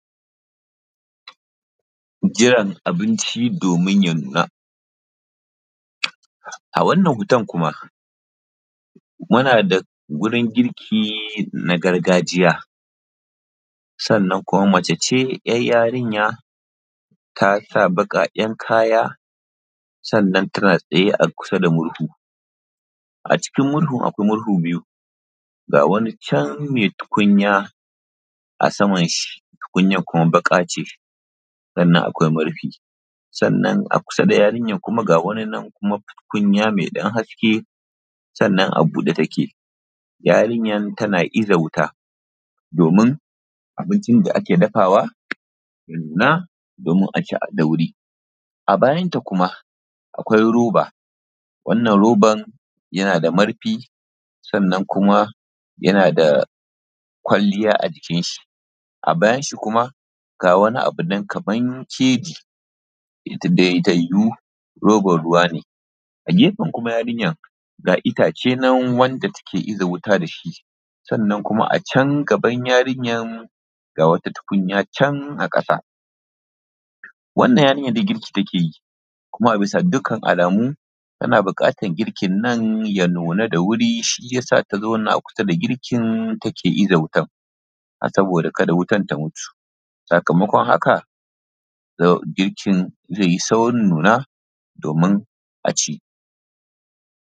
Jiran abinci domin ya nuna. A wannan hoton kuma, muna da wurin girki na gargajiya, sannan kuma mace ce ‘yar yarinya tasa baƙaƙen kaya, sannan tana tsaye a kusa da murhu, a cikin murhun akwai murhu biyu, ga wani can me tukunya a saman shi, tukunyar kuma baƙa ce, sannan akwai murfi. Sannan akusa da yarinyar kuma ga wani nan kuma tukunya mai ɗan haske, sannan a buɗe take. Yarinyar tana iza wuta, domin abincin da ake dafawa ya nuna domin aci da wuri. A bayanta kuma akwai roba, wannan roban yana da marfi, sannan kuma yana da kwalliya a jikin shi, a bayanshi kuma ga wani abu nan kaman keji, ita dai ta yiwu roban ruwa ne, a gefen kuma yarinyar, ga itace nan wanda take iza wuta da shi, sannan kuma a can gaban yarinyar ga wata tukunya can a ƙasa. Wannan yarinyar dai girgi take yi, kuma a bisa dukkan alamu tana buƙatar girkin nan ya nuna da wuri, shiyasa ta zauna kusa da girkin take iza wuta, a saboda kada wutan ta mutu, sakamakon haka girkin zai yi saurin nuna, domin aci.